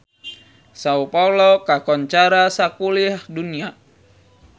Sao Paolo kakoncara sakuliah dunya